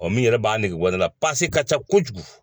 O min yɛrɛ b'a nege bɔ ne la ka ca kojugu.